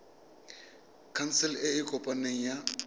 khansele e e kopaneng ya